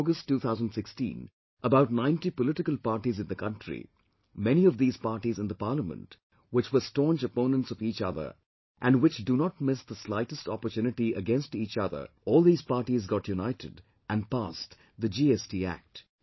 In August 2016, about 90 political parties in the country, many of these parties in the Parliament, which were staunch opponents of each other and which do not miss the slightest opportunity against each other, all these parties got united and passed the GST Act